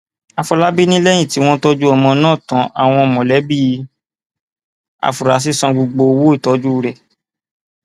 àfọlábí ni lẹyìn tí wọn tọjú ọmọ náà tan àwọn mọlẹbí àfúrásì san gbogbo owó ìtọjú rẹ